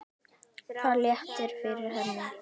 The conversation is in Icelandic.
Það léttir yfir henni.